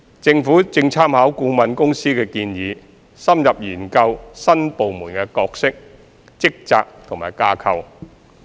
政府正參考顧問公司的建議，深入研究新部門的角色、職責及架構。